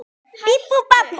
Naumast þú ert kátur.